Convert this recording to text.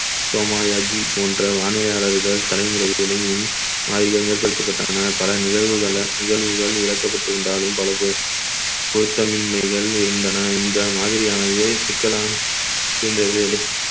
சோமாயாஜி போன்ற வானிலையாளர்கள் தலைமுறைகளையும் அதிகம் ஏற்படுத்தப்பட்டன பல நிகழ்வுகள~ நிகழ்வுகள் இறக்கப்பட்டிருந்தாலும் பல போ~ பொருத்தமின்மைகள் இருந்தன இந்த மாதிரியானது சிக்கலா~ இருந்தது